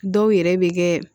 Dɔw yɛrɛ bɛ kɛ